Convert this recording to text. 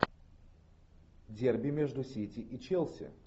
дерби между сити и челси